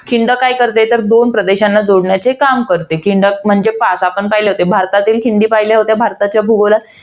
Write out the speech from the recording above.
खिंड काय करते? तर दोन प्रदेशांना जोडण्याचे काम करते. खिंडक म्हणजे, पाच. आपण पहिले होते, भारताच्या खिंडी पहिल्या होत्या भारताच्या भूगोलात.